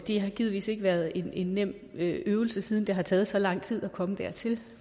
har givetvis ikke været en nem øvelse siden det har taget så lang tid at komme dertil